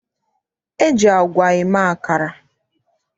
E ji agwa eme akara.